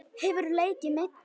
Hefurðu leikið meiddur?